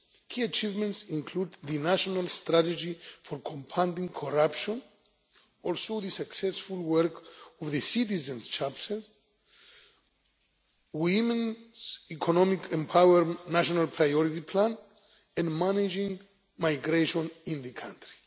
Key achievements include the National Strategy for Combating Corruption, and also the successful work of the Citizens' Charter, Women's Economic Empowerment National Priority Plan, and managing migration in the country.